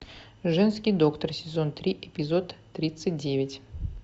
женский доктор сезон три эпизод тридцать девять